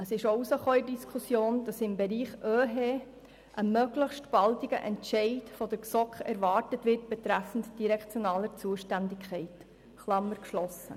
Aus der Diskussion ging auch hervor, dass die GSoK im Bereich OeHE einen möglichst baldigen Entscheid betreffend direktionaler Zuständigkeit erwartet.